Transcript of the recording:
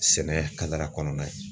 Sɛnɛ kadara kɔnɔna ye.